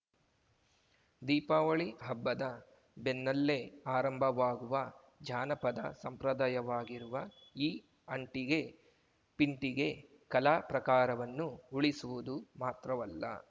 ದೀಪಾವಳಿ ಹಬ್ಬದ ಬೆನ್ನಲ್ಲೇ ಆರಂಭವಾಗುವ ಜಾನಪದ ಸಂಪ್ರದಾಯವಾಗಿರುವ ಈ ಅಂಟಿಗೆ ಪಿಂಟಿಗೆ ಕಲಾ ಪ್ರಾಕಾರವನ್ನು ಉಳಿಸುವುದು ಮಾತ್ರವಲ್ಲ